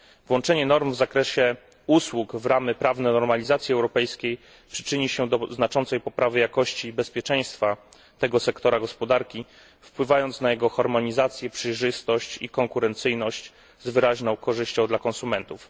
Włączenie norm w zakresie usług w ramy prawne normalizacji europejskiej przyczyni się do znaczącej poprawy jakości i bezpieczeństwa tego sektora gospodarki wpływając na jego harmonizację, przejrzystość i konkurencyjność z wyraźną korzyścią dla konsumentów.